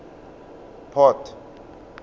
port